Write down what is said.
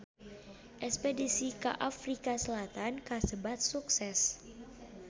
Espedisi ka Afrika Selatan kasebat sukses